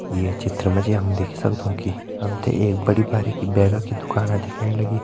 ये चित्र मा जी हम देखि सक्दों कि हम ते एक बड़ी बारिकी बैगा की दुकाना दिखेण लगीं।